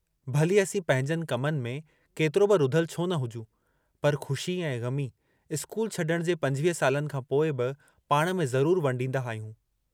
भली असीं पंहिंजनि कमनि में केतिरो बि रुधल छो न हुजूं पर ख़ुशी ऐं ग़मी स्कूल छॾण जे पंजवीह सालनि खां पोइ बि पाण में ज़रूर वंडींदा आहियूं।